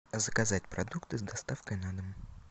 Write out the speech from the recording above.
заказать продукты с доставкой на дом